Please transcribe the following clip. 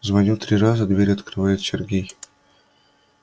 звоню три раза дверь открывает сергей